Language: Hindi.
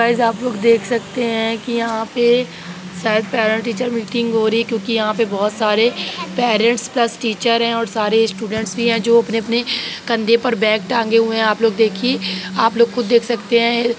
गाइस आप लोग देख सकते है कि यहाँ पे शायद पैरेंट टीचर मीटिंग रही है क्योंकि यहाँ पे बहुत सारे पेरेंट्स प्लस टीचर है और सारे स्टूडेंट्स भी है जो अपने अपने कंधे पर बैग टांगे हुए हैं आप लोग देखिए आप लोग खुद देख सकते हैं।